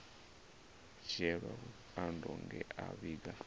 dzhielwa vhukando nge a vhiga